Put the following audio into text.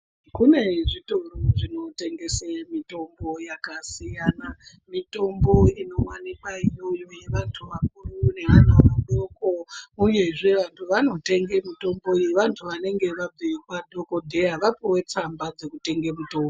Kune zvitoro zvinotengese mitombo yakasiyana, mitombo inowanikwa iri yevantu vakuru nevana vadoko uye zvee vantu vanotenge mitombo iyi vantu vanenge vabve kwadhokodheya vapuwe tsamba dzokutenge mutombo.